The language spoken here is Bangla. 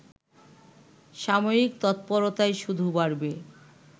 সামরিক তৎপরতাই শুধু বাড়বে